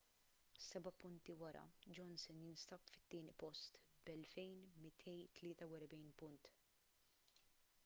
seba’ punti wara johnson jinsab fit-tieni post b’2,243 punt